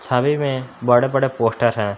छवि में बड़े बड़े पोस्टर है।